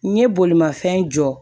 N ye bolimafɛn jɔ